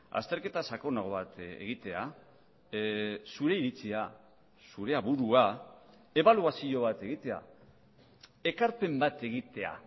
azterketa sakonago bat egitea zure iritzia zure aburua ebaluazio bat egitea ekarpen bat egitea